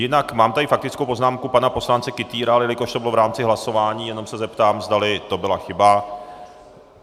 Jinak mám tady faktickou poznámku pana poslance Kytýra, ale jelikož to bylo v rámci hlasování, jenom se zeptám, zdali to byla chyba.